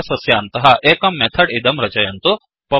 class अस्य अन्तः एकं मेथड् इदं रचयन्तु